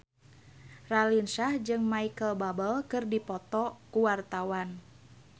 Raline Shah jeung Micheal Bubble keur dipoto ku wartawan